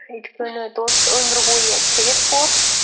өйткені дос өмір бойы керек болады